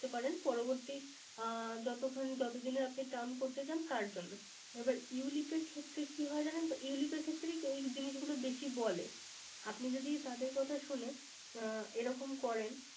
করতে পারেন। পরবর্তী যত দিনের আপনি Term করতে চান তার জন্য। You lip ক্ষেত্রে কি হয় জানেন তো? You lip ক্ষেত্রে এই জিনিসগুলো বেশি বলে। আপনি যদি তাদের কথা শুনে এরকম করেন।